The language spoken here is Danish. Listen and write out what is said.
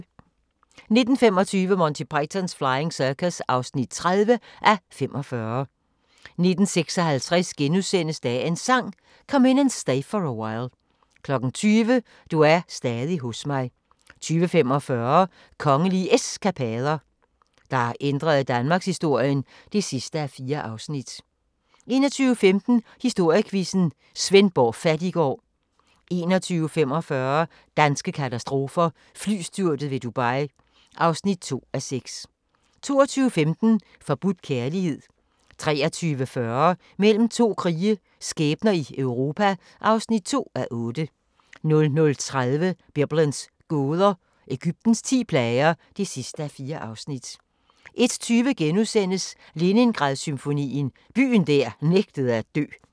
19:25: Monty Python's Flying Circus (30:45) 19:56: Dagens Sang: Come In And Stay For A While * 20:00: Du er stadig hos mig 20:45: Kongelige Eskapader – der ændrede danmarkshistorien (4:4) 21:15: Historiequizzen: Svendborg Fattiggård 21:45: Danske katastrofer – Flystyrtet ved Dubai (2:6) 22:15: Forbudt kærlighed 23:40: Mellem to krige – skæbner i Europa (2:8) 00:30: Biblens gåder – Egyptens ti plager (4:4) 01:20: Leningrad-symfonien – byen der nægtede at dø *